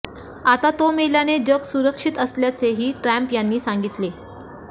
आता तो मेल्याने जग सुरक्षित झाल्याचेही ट्रम्प यांनी सांगितले